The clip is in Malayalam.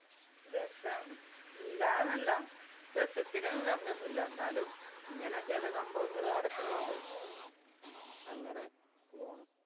രസം ഇല്ലാന്നല്ല രസത്തിന് കമ്മിയൊന്നുമില്ല എന്നാലും ഇങ്ങനെ ചെല സംഭവങ്ങള് നടക്കണോണ്ട്, അങ്ങനെ പോണു.